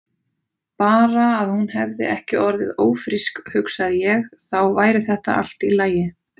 Bara að hún hefði ekki orðið ófrísk, hugsaði ég, þá væri þetta allt í lagi.